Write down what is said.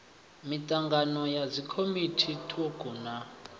mitangano ya dzikomiti thukhu na